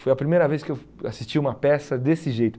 Foi a primeira vez que eu assisti a uma peça desse jeito.